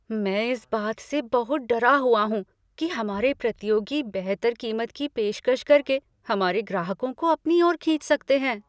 मैं इस बात से बहुत डरा हुआ हूँ कि हमारे प्रतियोगी बेहतर कीमत की पेशकश करके हमारे ग्राहकों को अपनी ओर खींच सकते हैं।